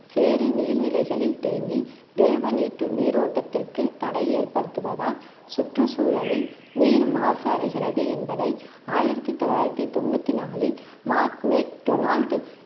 சேறு நீர்நிலைகளில் தேங்கி திரவ நீட்டு~ நீரோட்டத்திற்கு தடை ஏற்படுத்துவதால் சுற்று சூழலில் நீர் மாசு அடைகிறது என்பதை ஆயிரத்தி தொள்ளாயிரத்தி தொண்ணூத்தி நாளில் மார்க் மேக் டொனால்ட்